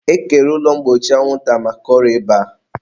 e kere ụlọ mgbochi anwụnta maka ọrịa ịba.